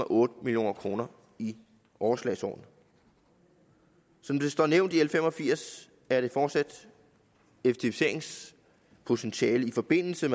otte million kroner i overslagsårene som det står nævnt i l fem og firs er der fortsat effektiviseringspotentiale i forbindelse